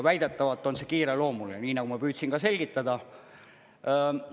Väidetavalt on see kiireloomuline, nii nagu ma püüdsin ka selgitada.